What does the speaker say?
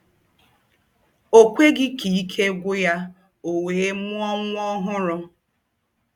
O kweghị ka ike gwụ ya, o wee mụọ nwa ọhụrụ.